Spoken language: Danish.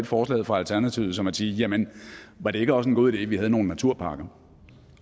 forslaget fra alternativet som at de siger jamen var det ikke også en god idé at vi havde nogle naturparker